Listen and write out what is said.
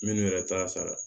Minnu yɛrɛ t'a sara